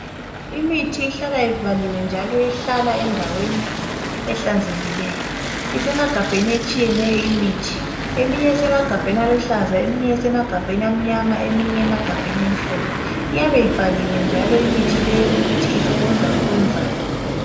Imithi ihlala ivaliwe njalo ihlala endaweni ehlanzekileyo isemagabheni etshiyeneyo imithi eminye isemagabheni aluhlaza eminye esemagabheni amanyama eminye amagabheni amhlophe iyabe ibhaliwe njalo imithi le ukuthi isebenza ukwenzani.